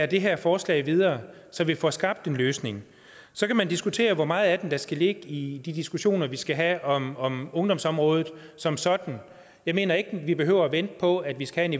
det her forslag videre så vi får skabt en løsning så kan man diskutere hvor meget af den der skal ligge i de diskussioner vi skal have om om ungdomsområdet som sådan jeg mener ikke vi behøver vente på at vi skal